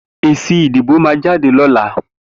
Ési idibó mà jàdé lọ̀là